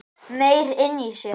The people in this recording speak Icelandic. Meyr inni í sér